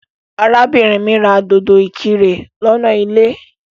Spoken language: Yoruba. Arábìnrin mí ra dòdò ìkirè lọ́nà ilé.